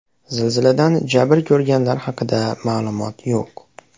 Zilziladan jabr ko‘rganlar haqida ma’lumot yo‘q.